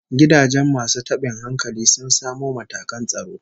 Gidajen masu tabin hankalin sun samu matakan tsaro